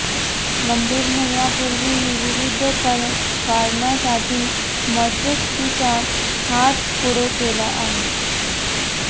गंभीरने यापूर्वीही विविध कारणांसाठी मदतीचा हात पुढे केला आहे